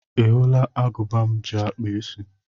Ị hụla agụba m ji akpụ isí?